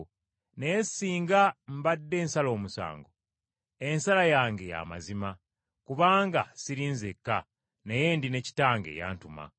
Naye singa mbadde nsala omusango, ensala yange ya mazima, kubanga siri nzekka, naye ndi ne Kitange eyantuma.